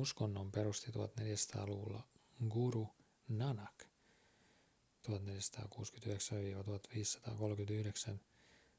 uskonnon perusti 1400-luvulla guru nanak 1469–1539.